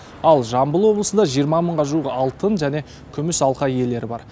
ал жамбыл облысында жиырма мыңға жуық алтын және күміс алқа иелері бар